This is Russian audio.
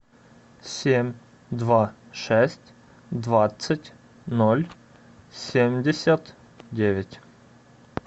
семь два шесть двадцать ноль семьдесят девять